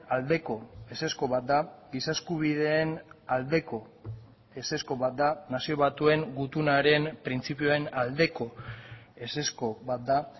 aldeko ezezko bat da giza eskubideen aldeko ezezko bat da nazio batuen gutunaren printzipioen aldeko ezezko bat da